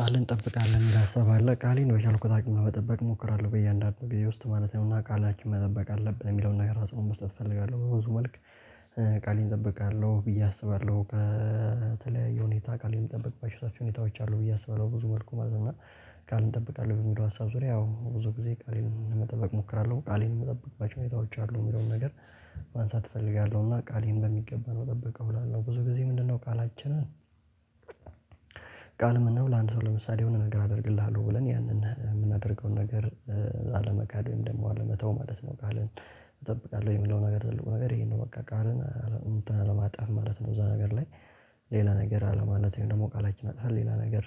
ቃልህን ትጠብቃለህ የሚል ሀሳብ አለ ቃሌን በቻልኩት አቅም ለበጠበቅ እሞክራለሁ በእያንዳንዱ ጊዜ ውስጥ ማለት ነው እና ቃላችን መጠበቅ አለብን የሚለውን ነገር አጽንኦት መስጠት እፈልጋለሁ በብዙ መልክ። ቃሌን እጠብቃለሁ ብዬ አስባለሁ ከተለያዩ የሁኔታ ቃል የምጠብቅባቸው ሰፊ ሁኔታዎች አሉ ብዬ አስበለሁ ብዙ መልኩ ማለት ነው እና። ቃል እጠብቃለሁ በሚለው ሀሳብ ዙሪያ ያው ብዙ ጊዜ ቃሌን መጠበቅ እሞክራለሁ ቃሌን የምጠብቅባቸው ሁኔታዎች አሉ የሚለውን ነገር። ማንሳት እፈልጋለሁ እና ቃሌን በሚገባ ነው ምጠብቀው እላለሁ ብዙ ጊዜ ምንድነው? ቃላችንን። ቃል ምን ነው ለአንድ ሰው ለምሳሌ የሆነ ነገር አደርግልሃለሁ ብለን ያንን የምናደርገውን ነገር። አለመካድ ወይም ደግሞ አለመተው ማለት ነው ቃልን። እጠብቃለሁ የሚለው ነገር ትልቁ ነገር ይሄን ነው በቃ ቃልን እንትን አለማጠፍ ማለት ነው። እዛ ነገር ላይ። ሌላ ነገር አለማለት ወይም ደግሞ ቃላችን አጥፈን ሌላ ነገር።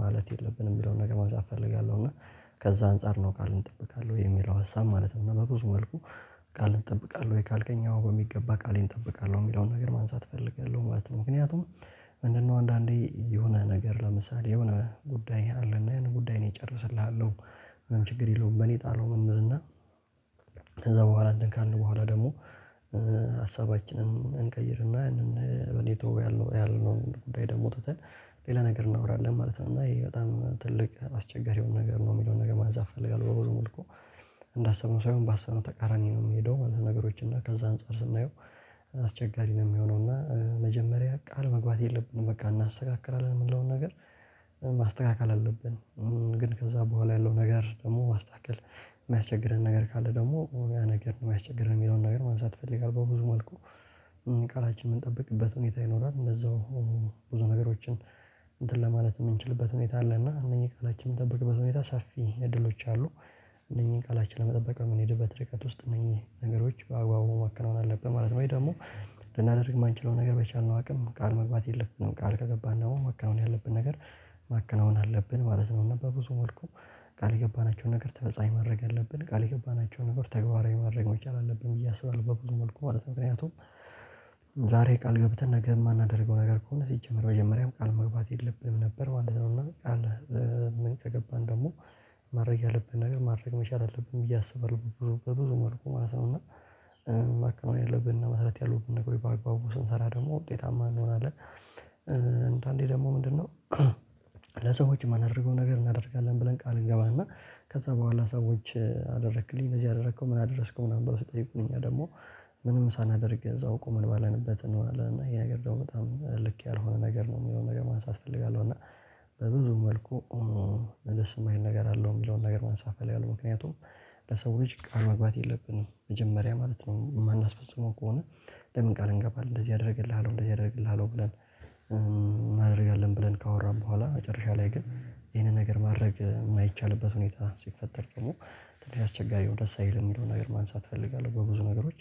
ማለት የለብንም የሚለውን ነገር ማንሳት እፈልጋለሁ እና። ከዛ አንፃር ነው ቃልን እንጠብቃለን የሚለው ሀሳብ ማለት ነው በብዙ መልኩ። ቃልህን ትጠብቃለህ ወይ? ካልከኝ አወ በሚገባ ቃሌን እጠብቃለሁ የሚለውን ነገር ማንሳት እፈልጋለሁ ማለት ነው ምክንያቱም። ምንድነው አንዳንዴ የሆነ ነገር ለምሳሌ የሆነ ጉዳይ አለን ጉዳይ ነው እጨረስልሃለሁ። ምንም ችግር የለውም በኔ ጣለው እንል እና። ከዛ በኋላ እንትን ካልን በኋላ ደግሞ። ሀሳባችንን እንቀይርና ያንን በኔ ተወው ያለነው ጉዳይ ደግሞ ትተን ሌላ ነገር እናወራለን ማለት ነው። እና ይሄ በጣም ትልቅ አስቸጋሪ የሆነ ነገር ነው የሚለውን ነገር ማንሳት እፈልጋለሁ በብዙ መልኩ። እንዳሰብነው ሳይሆን ባሰብነው ተቃራኒ ነው የምሄደው ማለት ነገሮች እና ከዛ አንፃር ስናየው። አስቸጋሪ ነው የሚሆነው እና መጀመሪያ ቃል መግባት የለብንም በቃ እናስተካክላለን የምንለውን ነገር ማስተካከል አለብን። ግን ከዛ በኋላ ያለው ነገር ደግሞ ማስተካከል የማያስቸግረን ነገር ካለ ደግሞ ያ ነገር ነው የሚያስቸግር የሚለውን ነገር ማንሳት እፈልጋለሁ በብዙ መልኩ። ቀራችን የምንጠብቅበት ሁኔታ ይኖራል እንደዛው ብዙ ነገሮችን እንትን ለማለት የምንችልበት ሁኔታ አለ እና እነኚህ ቃላችን የምጠብቅበት ሁኔታ ሰፊ እድሎች አሉ። እነኚህን ቃላችን ለመጠበቅ የምንሄድበት ርቀት ውስጥ እነኚህ ነገሮች በአግባቡ ማከናወን አለብን ማለት ነው ወይ ደግሞ። ልናደርግ የማንችለው ነገር በቻልነው አቅም ቃል መግባት የለብንም ቃል ከገባን ደግሞ ማከናወን ያለብን ነገር ማከናወን አለብን ማለት ነው እና በብዙ መልኩ። ቃል የገባናቸውን ነገር ተመፈጻሚ ማድረግ አለብን ቃል የገባናቸውን ነገር ተግባራዊ ማድረግ መቻል አለብን ብዬ አስባለሁ በብዙ መልኩ ማለት ነው ምክንያቱም። ዛሬ ቃል ገብተን ነገር የማናደርገው ነገር ከሆነ ሲጀመር መጀመሪያም ቃል መግባት የለብንም ነበር ማለት ነው ቃል። ምን ተገባን ደግሞ? ማድረግ ያለብን ነገር ማድረግ መቻል አለብን ብዬ አስባለሁ ብዙ ብዙ መልኩ ማለት ነው እና። ማከናወን ያለብን እና መስራት ያለብን ነገር በአግባቡ ስንሰራ ደግሞ ውጤታማ እንሆናለን እንደአንዴ ደግሞ ምንድነው? ለሰዎች የማናደርገው ነገር እናደርጋለን ብለን ቃል እንገባና ከዛ በኋላ ሰዎች አደረክልኝ እነዚህ ያደረከው ምን አደረስከው ምናምን ብሎ ስጠይቁኝ እኛ ደግሞ ምንም ሳናደርግ እዛው አውቆ ምን ባለንበት እንሆናለን እና ይሄ ነገር ደግሞ በጣም ልክ ያልሆነ ነገር ነው የሚለውን ነገር ማንሳት እፈልጋለሁ እና። በብዙ መልኩ ለደስ የማይል ነገር አለው የሚለውን ነገር መንሳት እፈልጋለሁ ምክንያቱም። ለሰው ልጅ ቃል መግባት የለብንም መጀመሪያ ማለት ነው የማናስፈጽመው ከሆነ። ለምን? ቃል እንገባለን እንደዚህ አደርግልሃለሁ እንደዚህ አደርግልሃለሁ ብለን እናደርጋለን ብለን ካወራን በኋላ መጨረሻ ላይ ግን ይሄንን ነገር ማድረግ የማይቻልበት ሁኔታ ሲፈጠር ደግሞ። ትንሽ አስቸጋሪው ደስ አይልም የሚለው ነገር ማንሳት እፈልጋለሁ በብዙ ነገሮች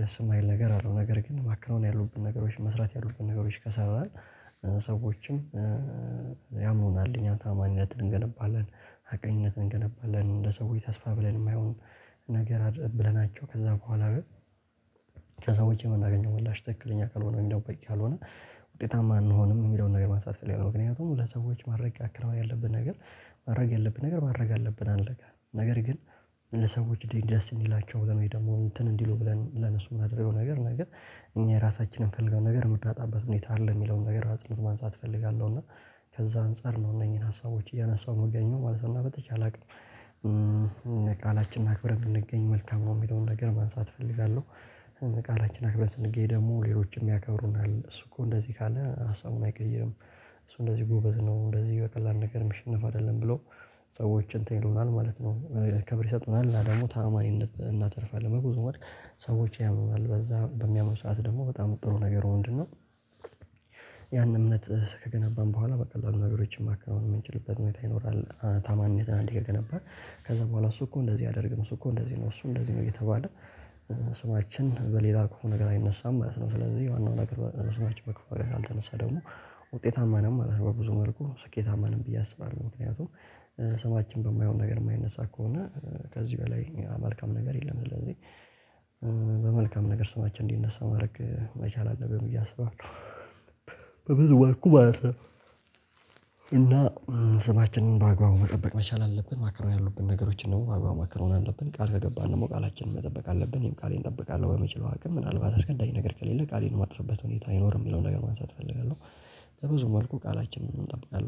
ደስ የማይል ነገር አለው ነገር ግን ማከናወን ያሉብን ነገሮች መስራት ያሉብን ነገሮች ከሰራን። ያምኑናል እኛ ታማኝነትን እንገነባለን። ሀቀኝነትን እንገነባለን እንደ ሰውዬ ተስፋ ብለን የማይሆን። ነገር አድርገን ብለናቸው ከዛ በኋላ ከዛ ውጪ የምናገኘው ምላሽ ትክክለኛ ካልሆነ ወም ደግሞ በቂ ካልሆነ። ውጤታማ አንሆንም የሚለውን ነገር ማንሳት እፈልጋለሁ ምክንያቱም ለሰዎች ማረጋገጥ ያለብን ነገር ማድረግ ያለብን ነገር ማድረግ አለብን አለቀ ነገር ግን። ለሰዎች ደስ እንዲላቸው ብለን ደግሞ እንትን እንዲሉ ብለን ለነሱ የምናደርገው ነገር ነገር እኛ ራሳችንን የምፈልገው ነገር የምንጣበት ሁኔታ አይደለም የሚለውን ነገር ማንሳት እፈልጋለሁ እና። ከዛ አንፃር ነው እነዚህን ሀሳቦች እያነሳሁ የምገኘው ማለት ነው እና በተቻለ አቅም ቃላችንን አክብረን ብንገኝ መልካም ነው የሚለውን ነገር ማንሳት እፈልጋለሁ። ቃላችን አክብረን ስንገኝ ደግሞ ሌሎችም ያከብሩናል እሱ እኮ እንደዚህ ካለ ሀሳቡን አይቀይርም። እሱ እንደዚህ ጎበዝ ነው እንደዚህ በቀላሉ ነገር ሚሸነፍ አይደለም ብሎ ሰዎችን እንትን ይሉናል ማለት ነው። ከብር ይሰጡናል እና ደግሞ ታማኝነት እናተርፋለን በብዙ መልክ ሰዎች ያምኑናል በዛ በሚያምን ሰዓት ደግሞ በጣም ጥሩ ነገር ወንድን ነው። ያን እምነት ከገነባን በኋላ በቃ ለምን ነገሮችን ማከናወን የምንችልበት ሁኔታ ይኖራል ታማኝ ታማኝነት አንዴ ከገነባን። ከዛ በኋላ እሱ እኮ እንደዚህ አደርግም እሱ እኮ እንደዚህ ነው እሱ እንደዚህ ነው እየተባለ። ስማችን በሌላ ከሆነ ነገር አይነሳም ማለት ነው ስለዚህ። ዋናው ነገር በስማች በክፉ ካልተነሳ ደግሞ ውጤታማ ነን ማለት ነው በብዙ መልኩ ስኬታማንም ብዬ አስባለሁ ምክንያቱም። ስማችን በማይሆን ነገር የማይነሳ ከሆነ ከዚህ በላይ አመልካም ነገር የለም ስለዚህ። በመልካም ነገር ስማችን እንዲነሳ ማድረግ መቻል አለብን ብዬ አስባለሁ በብዙ መልኩ ማለት ነው። እና ስማችንን በአግባቡ መጠበቅ መቻል አለብን። ማክረም ያሉብን ነገሮችን ደግሞ አብረው ማከነው አለብን ቃል ከገባን ደግሞ ቃላችንን መጠበቅ አለብን። ይሄን ቃሌን እጠብቃለሁ በመችለው አቅም ምናልባት እስከንዳኝ ነገር ከሌለ ቃሌን የማጥፍበት ሁኔታ አይኖርም የሚለውን ነገር ማንሳት እፈልጋለሁ። ለብዙ መልኩ ቃላችንን እንጠብቃለን